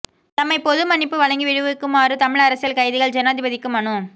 தம்மை பொது மன்னிப்பு வழங்கி விடுவிக்குமாறு தமிழ் அரசியல் கைதிகள் ஜனாதிபதிக்கு மனு